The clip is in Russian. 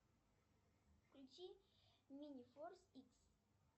включи мини форс икс